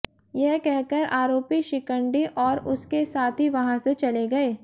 यह कहकर आरोपी शिकंडी और उसके साथी वहां से चले गए